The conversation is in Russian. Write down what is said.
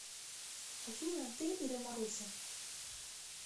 афина ты или маруся